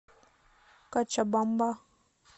кочабамба